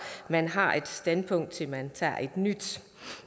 at man har et standpunkt til man tager et nyt